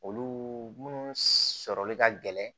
Olu munnu sɔrɔli ka gɛlɛn